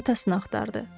Atasını axtardı.